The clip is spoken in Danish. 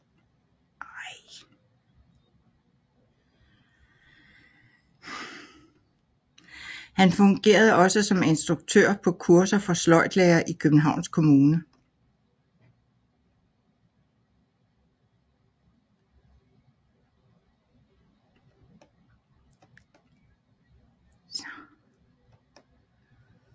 Han fungerede også som instruktør på kurser for sløjdlærere i Københavns Kommune